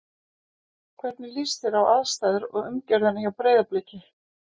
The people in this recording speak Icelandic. Hvernig líst þér á aðstæður og umgjörðina hjá Breiðabliki?